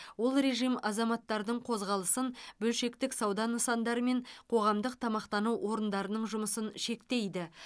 ол режим азаматтардың қозғалысын бөлшектік сауда нысандар мен қоғамдық тамақтану орындарының жұмысын шектейді